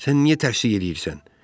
Sən niyə tərsik eləyirsən?